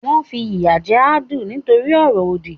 Wọ́n fi ìyà jẹ Adu nítorí ọ̀rọ̀ òdì.